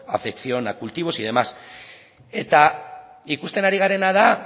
afección a cultivos y demás eta ikusten ari garena da